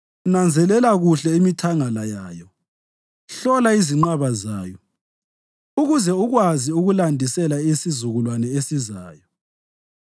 nanzelela kuhle imithangala yayo, hlola izinqaba zayo, ukuze ukwazi ukulandisela isizukulwane esizayo.